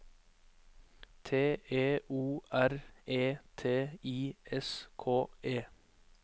T E O R E T I S K E